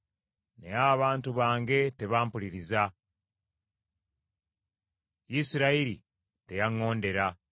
“Naye abantu bange tebampuliriza; Isirayiri teyaŋŋondera.